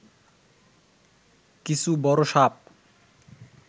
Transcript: কিছু বড় সাপ